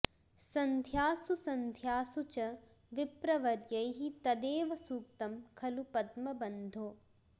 सन्ध्यासु सन्ध्यासु च विप्रवर्यैः तदेव सूक्तं खलु पद्मबन्धो